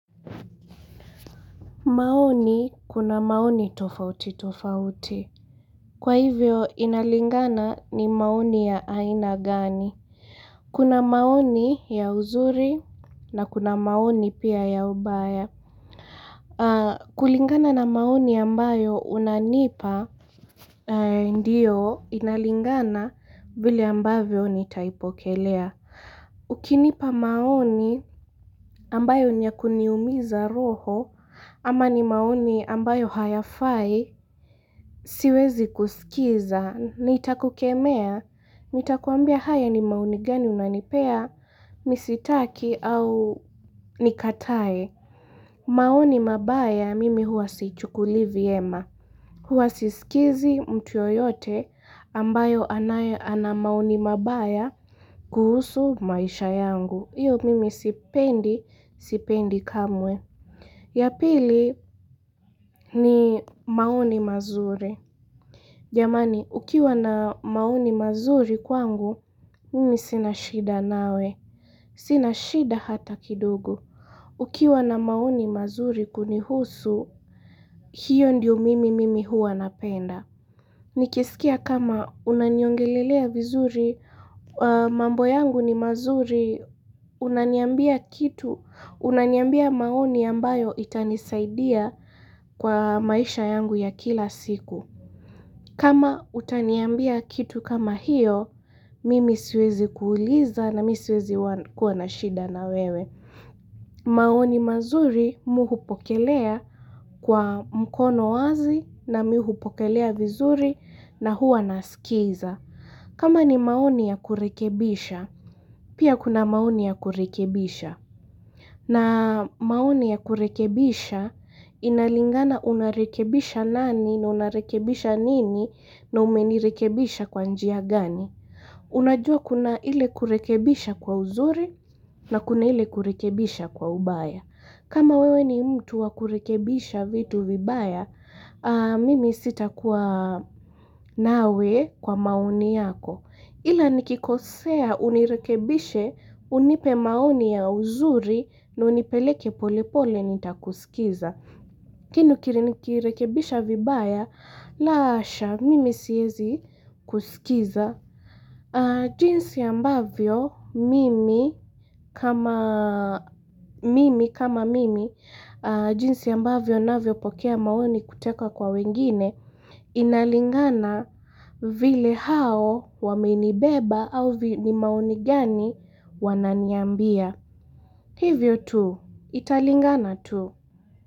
Maoni kuna maoni tofauti tofauti. Kwa hivyo inalingana ni maoni ya aina gani? Kuna maoni ya uzuri na kuna maoni pia ya ubaya. Kulingana na maoni ambayo unanipa. Ndiyo inalingana vile ambavyo nitaipokelea. Ukinipa maoni ambayo niya kuniumiza roho. Ama ni maoni ambayo hayafai, siwezi kusikiza, nitakukemea, nitakuambia haya ni maoni gani unanipea, mi sitaki au nikatae. Maoni mabaya, mimi huwa siichukulii vyema. Huwa sisikizi mtu yoyote ambayo ana maoni mabaya kuhusu maisha yangu. Iyo mimi sipendi, sipendi kamwe. Ya pili ni maoni mazuri. Jamani, ukiwa na maoni mazuri kwangu, mimi sina shida nawe. Sina shida hata kidogo Ukiwa na maoni mazuri kunihusu, hiyo ndio mimi mimi hua napenda. Nikisikia kama unaniongelelea vizuri, mambo yangu ni mazuri, unaniambia kitu, unaniambia maoni ambayo itanisaidia kwa maisha yangu ya kila siku. Kama utaniambia kitu kama hiyo, mimi siwezi kuuliza na mimi siwezi kuwa na shida na wewe. Maoni mazuri mi hupokelea kwa mkono wazi na mi hupokelea vizuri na huwa nasikiza. Kama ni maoni ya kurekebisha, pia kuna maoni ya kurekebisha. Na maoni ya kurekebisha, inalingana unarekebisha nani na unarekebisha nini na umenirekebisha kwa njia gani. Unajua kuna ile kurekebisha kwa uzuri na kuna ile kurekebisha kwa ubaya. Kama wewe ni mtu wa kurekebisha vitu vibaya, mimi sitakuwa nawe kwa maoni yako. Ila nikikosea unirekebishe unipe maoni ya uzuri na unipeleke pole pole nitakusikiza. Lakini ni ukirinikirekebisha vibaya, la hasha mimi siezi kusikiza. Jinsi ambavyo mimi kama mimi, jinsi ambavyo navyopokea maoni kutoka kwa wengine, Inalingana vile hao wamenibeba au ni maoni gani wananiambia. Hivyo tu, italingana tu.